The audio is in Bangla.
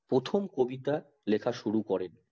প্রথম কবিতা লেখা শুরু করেন